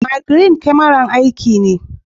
Mirgine kamara, Aiki!